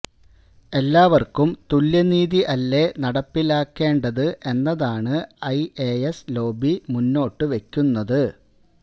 എല്ലാവര്ക്കും തുല്യനീതി അല്ലെ നടപ്പിലാക്കേണ്ടത് എന്നതാണ് ഐ എ സ് ലോബി മുന്നോട്ടുവെക്കുന്നത്